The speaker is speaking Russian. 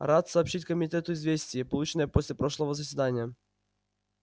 рад сообщить комитету известие полученное после прошлого заседания